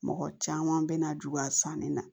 Mɔgɔ caman bɛna juguya sanni na